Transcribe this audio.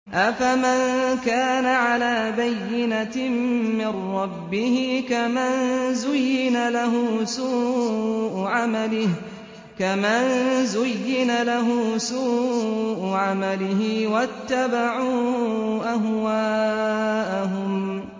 أَفَمَن كَانَ عَلَىٰ بَيِّنَةٍ مِّن رَّبِّهِ كَمَن زُيِّنَ لَهُ سُوءُ عَمَلِهِ وَاتَّبَعُوا أَهْوَاءَهُم